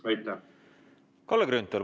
Kalle Grünthal, palun!